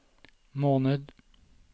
måned